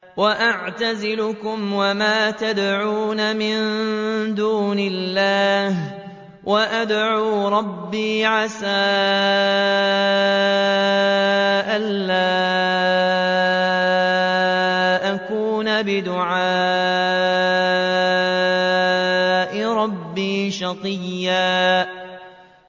وَأَعْتَزِلُكُمْ وَمَا تَدْعُونَ مِن دُونِ اللَّهِ وَأَدْعُو رَبِّي عَسَىٰ أَلَّا أَكُونَ بِدُعَاءِ رَبِّي شَقِيًّا